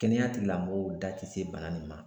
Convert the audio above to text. Kɛnɛya tigilamɔgɔw da ti se bana nin ma.